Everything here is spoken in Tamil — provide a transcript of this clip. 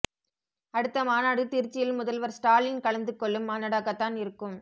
அடுத்த மாநாடு திருச்சியில் முதல்வர் ஸ்டாலின் கலந்து கொள்ளும் மாநாடாகத் தான் இருக்கும்